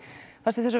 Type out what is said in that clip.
fannst þér þau